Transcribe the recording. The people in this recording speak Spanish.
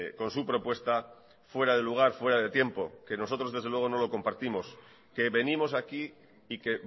con su propuesta fuera de lugar fuera de tiempo que nosotros desde luego no lo compartimos que venimos aquí y que